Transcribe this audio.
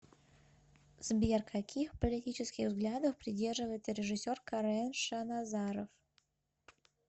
сбер каких политических взглядов придерживается режисер карен шаназаров